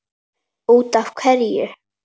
Út af hverju?